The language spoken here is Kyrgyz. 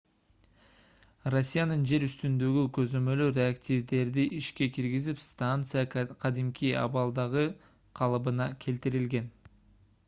россиянын жер үстүндөгү көзөмөлү реактивдерди ишке киргизип станция кадимки абалдагы калыбына келтирилген